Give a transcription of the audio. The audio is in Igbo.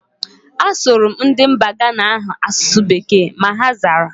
A sụrụ m ndị mba Ghana ahu asụsụ bekee, ma ha zara